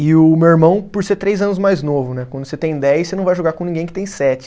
E o meu irmão, por ser três anos mais novo né, quando você tem dez, você não vai jogar com ninguém que tem sete.